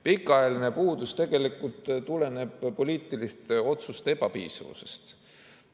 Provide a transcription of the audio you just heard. Pikaajaline puudus tuleneb poliitiliste otsuste ebapiisavusest.